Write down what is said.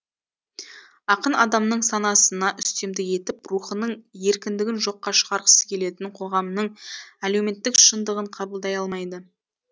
ақын адамның санасына үстемдік етіп рухының еркіндігін жоққа шығарғысы келетін қоғамның әлеуметтік шындығын қабылдай алмайды